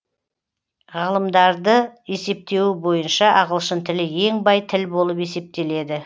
ғалымдарды есептеуі бойынша ағылшын тілі ең бай тіл болып есептеледі